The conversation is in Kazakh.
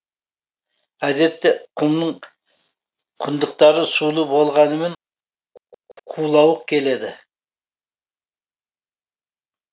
әдетте құмның құдықтары сулы болғанымен құлауық келеді